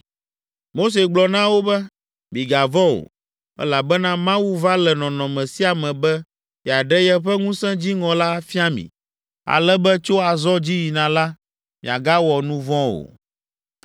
Mose gblɔ na wo be, “Migavɔ̃ o, elabena Mawu va le nɔnɔme sia me be yeaɖe yeƒe ŋusẽ dziŋɔ la afia mi, ale be tso azɔ dzi yina la, miagawɔ nu vɔ̃ o.”